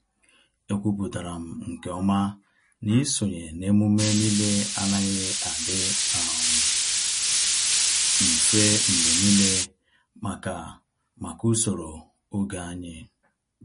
Ekwupụtara m nke ọma na isonye na emume niile anaghị adị um mfe mgbe niile maka maka usoro oge anyị.